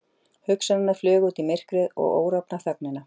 Hugsanirnar flugu út í myrkrið og órofna þögnina.